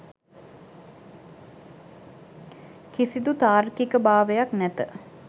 කිසිදු තාර්කික භාවයක් නැත